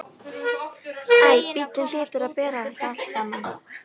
Æ, bíllinn hlýtur að bera þetta allt saman.